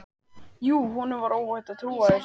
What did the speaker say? Jú, honum var óhætt að trúa þessu!